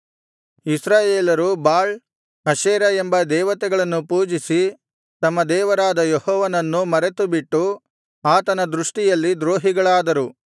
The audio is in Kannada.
ಇಸ್ರಾಯೇಲರು ಬಾಳ್ ಅಶೇರ ಎಂಬ ದೇವತೆಗಳನ್ನು ಪೂಜಿಸಿ ತಮ್ಮ ದೇವರಾದ ಯೆಹೋವನನ್ನು ಮರೆತುಬಿಟ್ಟು ಆತನ ದೃಷ್ಟಿಯಲ್ಲಿ ದ್ರೋಹಿಗಳಾದರು